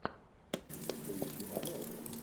поищи новеллу